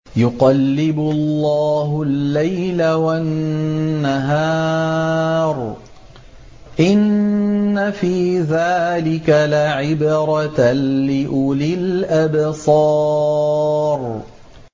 يُقَلِّبُ اللَّهُ اللَّيْلَ وَالنَّهَارَ ۚ إِنَّ فِي ذَٰلِكَ لَعِبْرَةً لِّأُولِي الْأَبْصَارِ